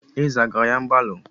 Ézè agara ya mgbalu?